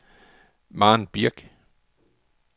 Maren Birch